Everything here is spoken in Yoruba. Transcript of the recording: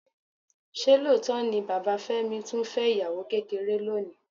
Ṣé lóòótọ́ ni bàbá Fẹ́mi tún fẹ́ ìyàwó kékeré lónìí?